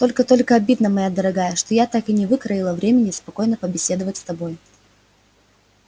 только только обидно моя дорогая что я так и не выкроила времени спокойно побеседовать с тобой